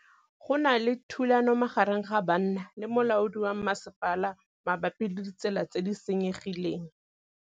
Go na le thulanô magareng ga banna le molaodi wa masepala mabapi le ditsela tse di senyegileng.